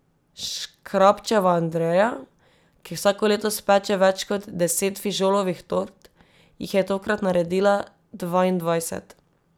Škrabčeva Andreja, ki vsako leto speče več kot deset fižolovih tort, jih je tokrat naredila dvaindvajset!